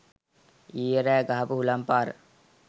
ඊයෙ රෑ ගහපු හුළං පාර